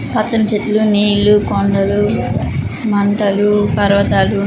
పచ్చని చెట్లున్నాయి ఇల్లు కొండలు మంటలు పర్వతాలు